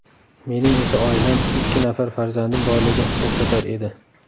Mening esa oilam, ikki nafar farzandim borligi to‘xtatar edi.